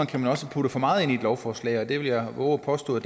kan man også putte for meget ind i et lovforslag og det vil jeg vove at påstå